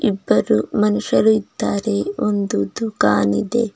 ಇಬ್ಬರು ಮನುಷ್ಯರು ಇದ್ದಾರೆ ಒಂದು ದುಖಾನ್ ಇದೆ.